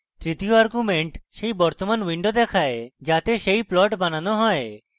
তৃতীয় argument সেই বর্তমান window দেখায় যাতে সেই plot বানানো হবে